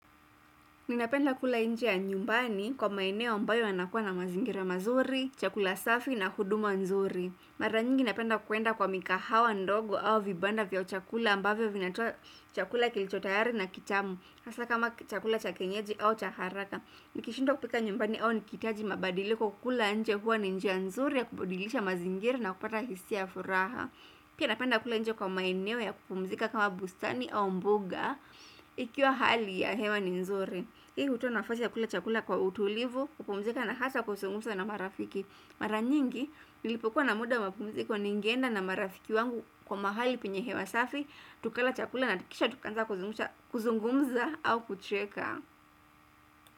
Ninapenda kula nje ya nyumbani kwa maeneo ambayo yanakuwa na mazingira mazuri, chakula safi na huduma nzuri. Maranyingi napenda kwenda kwa migahawa ndogo au vibanda vya chakula ambavyo vinatoa chakula kilichotayari na kitamu. Hasa kama chakula cha kienyeji au cha haraka. Nikishindwa kupika nyumbani au nikihitaji mabadiliko kula nje huwa ni njia nzuri ya kubadilisha mazingira na kupata hisia ya furaha. Pia napenda kula nje kwa maeneo ya kupumzika kama bustani au mbuga ikiwa hali ya hewa ni nzuri. Hii hutoa nafasi ya kula chakula kwa utulivu, kupumzika na hata kuzungumza na marafiki. Mara nyingi, nilipokuwa na muda wa mapumziko ningeenda na marafiki wangu kwa mahali penye hewa safi tukala chakula na kisha tukaanza kuzungumza au kucheka.